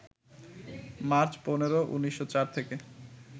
March ১৫, ১৯০৪ থেকে